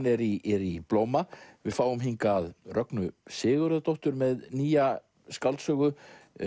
er í blóma við fáum Rögnu Sigurðardóttur með nýja skáldsögu